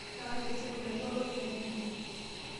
Yakaki esimu natii olorika tine.